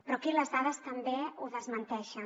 però aquí les dades també ho desmenteixen